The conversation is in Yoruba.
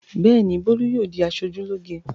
Bẹ́ẹ̀ ni, Tolú yóò di aṣojúlóge.